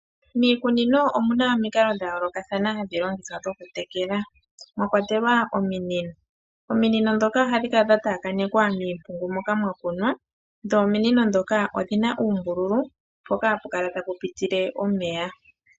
Miikunino omuna omikalo dha yoolokathana hadhi longithwa dhoku tekela mwakwatelwa ominino. Ominini ndhoka ohadhi kala dha taakanekwa miimpungu moka mwa kunwa dho ominino ndhoka odhina uumbululu mpoka hapu kala tapu pitile omeya.